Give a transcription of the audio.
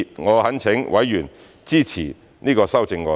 我懇請委員支持這些修正案。